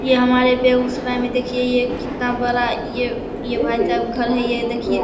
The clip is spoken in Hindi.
ये हमारे बेगूसराय में देखिये ये कितना बड़ा ये भाई साहब ये घर है ये देखिये।